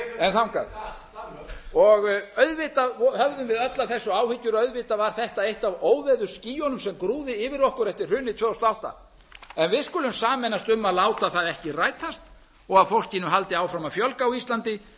fleiri auðvitað höfðum við öll af þessu áhyggjur auðvitað var þetta eitt af óveðursskýjunum sem grúfði yfir okkur eftir hrunið tvö þúsund og átta en við skulum sameinast um að láta það ekki rætast og að fólkinu haldi áfram að fjölga á íslandi